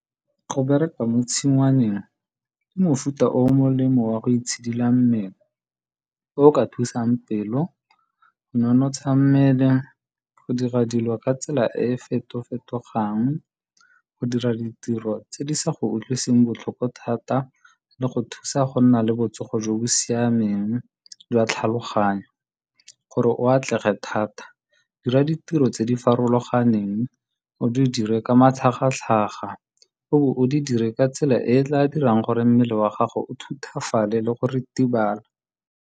Go bereka mo tshingwaneng ke mofuta o molemo wa go itshidila mmele, o o ka thusang pelo, go nonotsha mmele, go dira dilo ka tsela e e feto fetogang, go dira ditiro tse di sa go utlwiseng botlhoko thata le go thusa go nna le botsogo jo bo siameng jwa tlhaloganyo. Gore o atlege thata, dira ditiro tse di farologaneng, o di dire ka matlhagatlhaga, o bo o di dire ka tsela e e tla dirang gore mmele wa gago o thutafale le go ritibala.